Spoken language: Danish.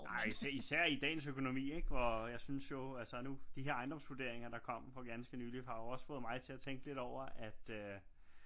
Nej især i dagens økonomi ikke hvor jeg synes jo altså nu de her ejendomsvurderinger der kom for ganske nylig har jo også fået mig til at tænke lidt over at øh